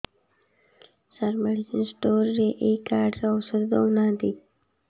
ସାର medicine store ରେ ଏଇ card ରେ ଔଷଧ ଦଉନାହାନ୍ତି